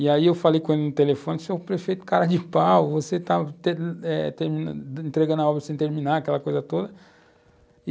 E aí eu falei com ele no telefone, você é o prefeito cara de pau, você está entregando a obra sem terminar, aquela coisa toda.